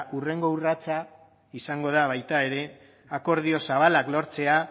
hurrengo urratsa izango baita ere akordio zabalak lortzea